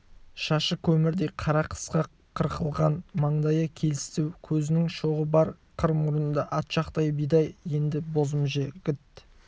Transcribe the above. шашы көмірдей қара қысқа қырқылған маңдайы келісті көзінің шоғы бар қыр мұрынды ат жақты бидай өнді бозым жігіт